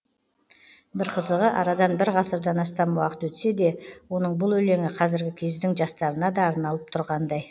бір қызығы арадан бір ғасырдан астам уақыт өтсе де оның бұл өлеңі қазіргі кездің жастарына да арналып тұрғандай